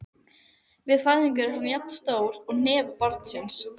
Við fæðingu er hann jafn stór hnefa barnsins.